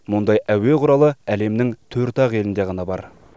мұндай әуе құралы әлемнің төрт ақ елінде ғана бар